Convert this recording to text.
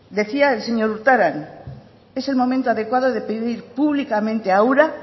decía el señor urtaran es el momento adecuado de pedir públicamente a ura